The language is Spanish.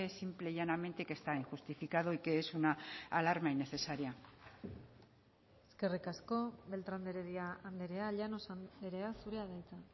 simple y llanamente que está injustificado y que es una alarma innecesaria eskerrik asko beltrán de heredia andrea llanos andrea zurea da hitza